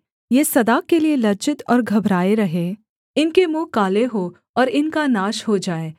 ये सदा के लिये लज्जित और घबराए रहें इनके मुँह काले हों और इनका नाश हो जाए